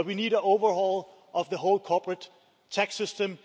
We need an overhaul of the whole corporate tax system.